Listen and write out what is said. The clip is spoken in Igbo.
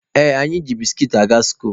Ee, anyị ji biskit aga skuulu.